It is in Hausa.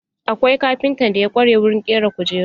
Akwai kafintan da ya ƙware wurin ƙera kujeru.